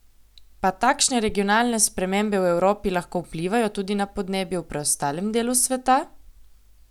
Pa takšne regionalne spremembe v Evropi lahko vplivajo tudi na podnebje v preostalem delu sveta?